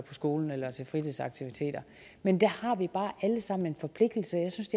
skolen eller til fritidsaktiviteter men der har vi bare alle sammen en forpligtelse jeg synes